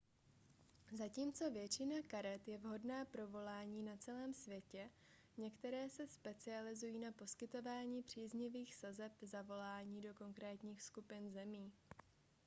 zatímco většina karet je vhodná pro volání na celém světě některé se specializují na poskytování příznivých sazeb za volání do konkrétních skupin zemí